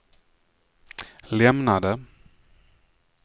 lämnade